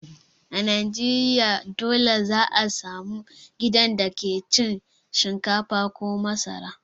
A Najeriya dole za a samu gidan da ke cin shinkafa ko masara.